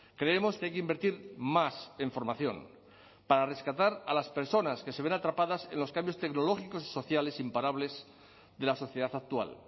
creemos que hay que invertir más en formación para rescatar a las personas que se ven atrapadas en los cambios tecnológicos y sociales imparables de la sociedad actual